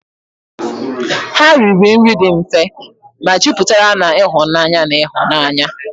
Ha riri nri dị mfe, ma juputara na ịhụnanya na ịhụnanya.